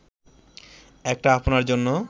একটা আপনার জন্য